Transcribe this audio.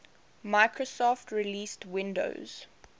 microsoft released windows